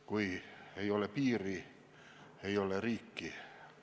Kui ei ole piiri, ei ole riiki.